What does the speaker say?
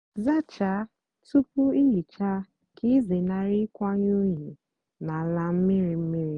zácháá túpú ị hicha kà ịzénárị ịkwanye unyi n'álá mmírí mmírí.